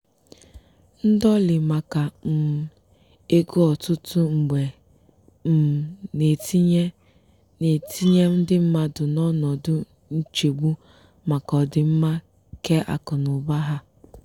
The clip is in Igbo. ndọlị maka um ego ọtụtụ mgbe um na-etinye na-etinye ndị mmadụ n'ọnọdụ nchegbu maka ọdịmma keakụnaụba ha.